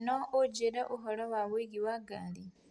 No ũnjĩĩre ũhoro wa ũingĩ wa ngari